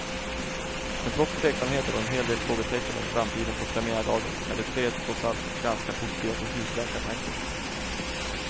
Men trots tveksamheter och en hel del frågetecken om framtiden på premiärdagen är de tre trots allt ganska positiva till husläkartanken.